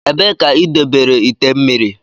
Ebee ka idobere ite mmiri.